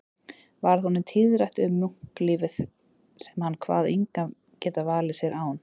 Varð honum tíðrætt um munklífið sem hann kvað engan geta valið sér án